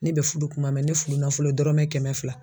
Ne bɛ fudu kuma mɛ ne fudunafolo dɔrɔmɛ kɛmɛ fila.